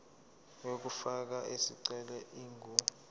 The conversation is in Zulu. yokufaka isicelo ingu